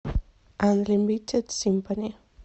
анлимитед симфони